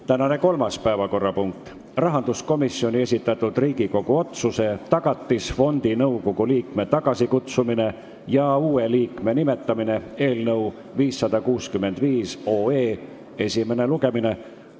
Tänane kolmas päevakorrapunkt on rahanduskomisjoni esitatud Riigikogu otsuse "Tagatisfondi nõukogu liikme tagasikutsumine ja uue liikme nimetamine" eelnõu 565 esimene lugemine.